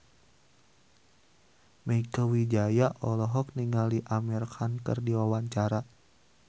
Mieke Wijaya olohok ningali Amir Khan keur diwawancara